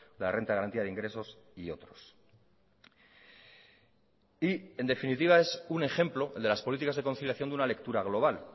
la renta de garantía de ingresos y otros y en definitiva es un ejemplo el de las políticas de conciliación de una lectura global